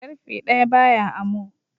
Karfe daya ba ya amo